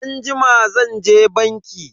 Anjima zanje banki.